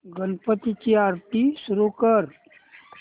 गणपती ची आरती सुरू कर